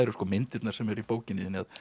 myndirnar sem eru í bókinni